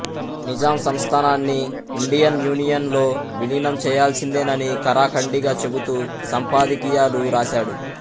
నిజాం సంస్థానాన్ని Indian union లో విలీనం చేయాల్సిందేనని ఖరాఖండిగా చెబుతూ సంపాదకీయాలు రాశాడు